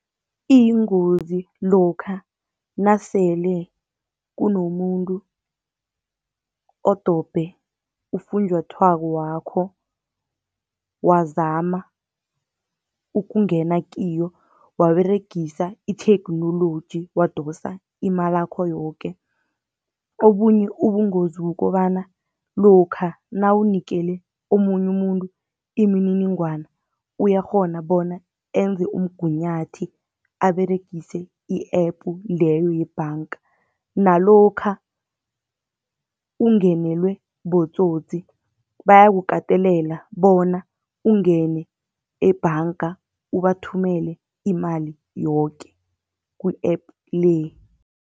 Iyingozi lokha nasele kunomuntu odobhe ufunjathwako wakho, wazama ukungena kiyo, waberegisa itheknoloji wadosa imalakho yoke. Obunye ubungozi ukobana lokha nawunikele omunye umuntu imininingwana, uyakghona bona enze umngunyathi aberegise i-app leyo yebhanka. Nalokha ungenelwe botsotsi bayakukatelela bona ungene ebhanka, ubathumele imali yoke ku-app le.